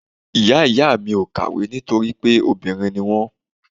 Ìyá ìyá mi ò kàwé nítorí pé obìnrin ni wọ́n.